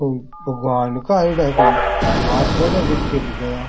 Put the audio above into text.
हाथ जोड़ा बैठी है लुगाइयां।